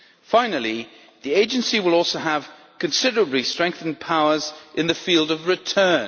Finally, the Agency will also have considerably strengthened powers in the field of return.